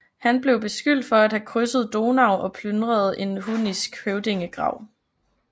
Han blev beskyldt for at have krydset Donau og plyndret en hunnisk høvdingegrav